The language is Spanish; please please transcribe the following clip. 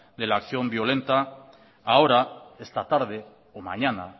de la acción violenta ahora esta tarde o mañana